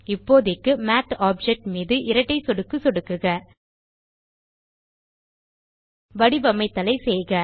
இப்போதைக்கு math object மீது இரட்டை சொடுக்கு சொடுக்குக வடிவமைத்தலைச் செய்க